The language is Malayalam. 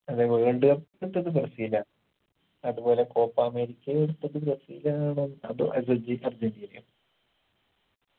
അതെ world cup എടുത്തത് ബ്രസീലാ അത് പോലെ കോപ്പാ അമേരിക്കയു എടുത്തത് ബ്രസീലാണ് അതൊ അർജെ അർജന്റീനയോ